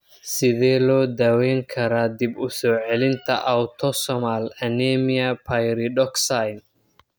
Sidee loo daweyn karaa dib-u-soo-celinta autosomal anemia pyridoxine